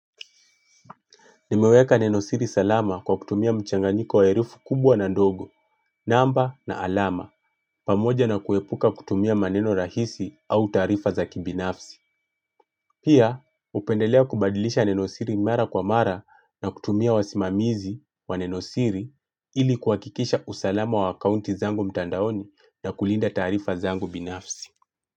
Nimeweka nenosiri salama kwa kutumia mchanganyiko wa herufi kubwa na ndogo, namba na alama, pamoja na kuepuka kutumia maneno rahisi au taarifa za kibinafsi. Pia, hupendelea kubadilisha nenosiri mara kwa mara na kutumia wasimamizi wa nenosiri ili kuhakikisha usalama wa akaunti zangu mtandaoni na kulinda taarifa zangu binafsi.